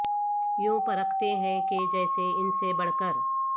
یوں پرکھتے ہیں کہ جیسے ان سے بڑھ کر